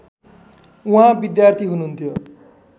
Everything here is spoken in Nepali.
उहाँ विद्यार्थी हुनुहुन्थ्यो